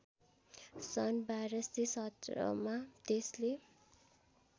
सन् १२१७ मा त्यसले